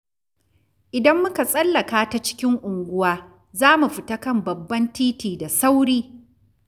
Idan muka tsallaka ta cikin unguwa, za mu fita kan babban titi da sauri.